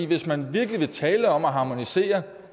hvis man virkelig vil tale om at harmonisere